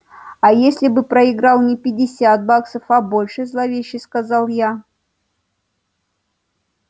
а если бы проиграл не пятьдесят баксов а больше зловеще сказал я